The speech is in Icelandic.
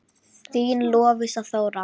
Þín Lovísa Þóra.